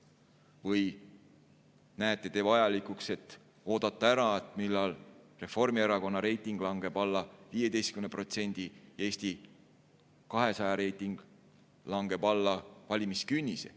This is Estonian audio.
Või peate te vajalikuks oodata ära, millal Reformierakonna reiting langeb alla 15% ja Eesti 200 reiting langeb alla valimiskünnise?